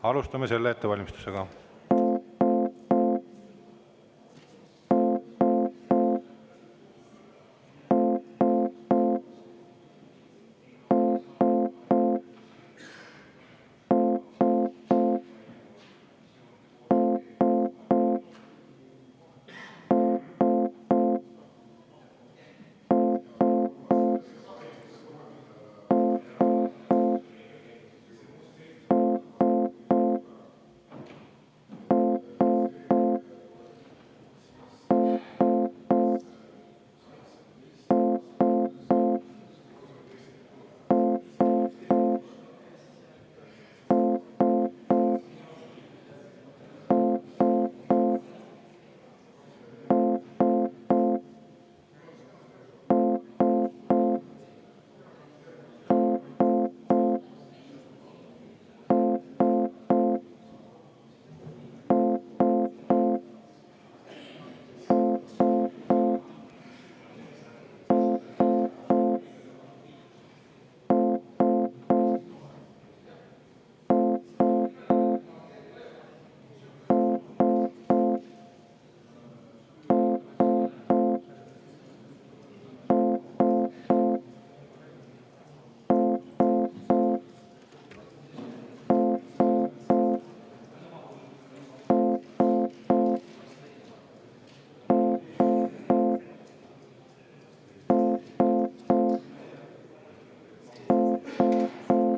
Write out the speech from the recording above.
Alustame selle hääletuse ettevalmistust.